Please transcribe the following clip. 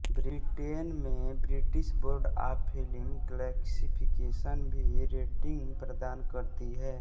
Britain में British board of film classification भी rating प्रदान करती है